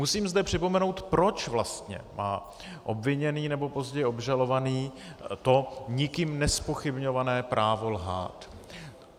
Musím zde připomenout, proč vlastně má obviněný nebo později obžalovaný to nikým nezpochybňované právo lhát.